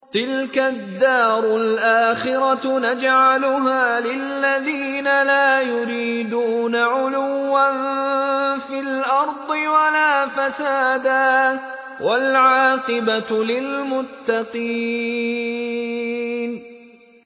تِلْكَ الدَّارُ الْآخِرَةُ نَجْعَلُهَا لِلَّذِينَ لَا يُرِيدُونَ عُلُوًّا فِي الْأَرْضِ وَلَا فَسَادًا ۚ وَالْعَاقِبَةُ لِلْمُتَّقِينَ